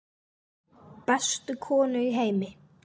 Bestu konu í heimi.